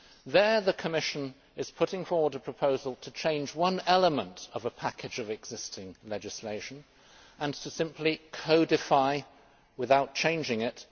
There, the Commission is putting forward a proposal to change one element of a package of existing legislation and to simply codify the rest without changing it.